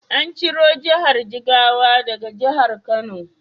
An ciro Jihar Jigawa daga Jihar Kano.